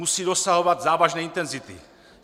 Musí dosahovat závažné intenzity.